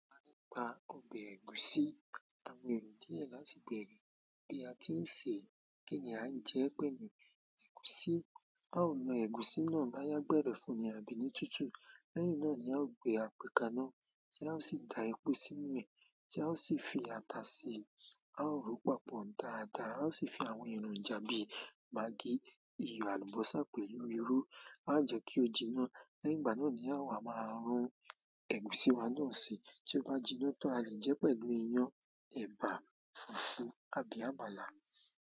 A lè pa ọbẹ̀ ẹ̀gúsí, àwọn èrò díẹ̀ láti bèrè bí a ti ń ṣe, kínì àn jẹ pẹ̀lú, ẹ̀gúsí. Báwo ni egusi náà boya gberefun ni àbí tuntun. Lẹ́yìn náà ni a ó gbé àpè kànáà tí a ó sì da epo sínú rẹ̀ tí a ó sì fi ata sí i. A ó ròópápó dáadáa, a ó sì fi àwọn èròjà bíi maggi, iyọ̀, àlùbọ́sà pẹ̀lú irú. A ó jẹ́ kí ó jiná. Lẹ́yìn ìgbà náà ni àwa máa rún ẹ̀gúsí wa náà si. Tí ó bá jiná tó a lè jẹ́ pẹ̀lú iyán, ẹ̀bà, fùfú àbí àmàlà.